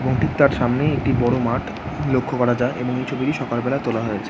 এবং ঠিক তার সামনেই একটি বড় মাঠ লক্ষ্য করা যায় এবং এই ছবিটি সকাল বেলা তোলা হয়েছে ।